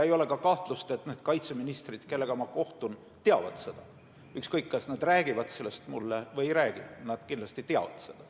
Ei ole ka kahtlust, et need kaitseministrid, kellega ma kohtun, teavad seda, ükskõik, kas nad räägivad sellest mulle või ei räägi, nad kindlasti teavad seda.